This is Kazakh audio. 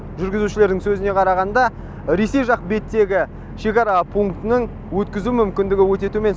жүргізушілердің сөзіне қарағанда ресей жақ беттегі шекара пунктінің өткізу мүмкіндігі өте төмен